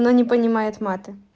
но не понимает мата